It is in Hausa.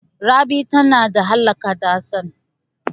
Rabi tana da alaƙa da Hassan.